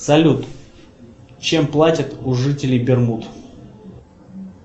салют чем платят у жителей бермуд